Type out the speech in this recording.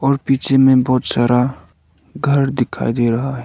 और पीछे में बहोत सारा घर दिखाई दे रहा है।